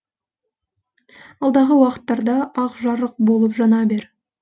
алдағы уақыттарда ақ жарық болып жана бер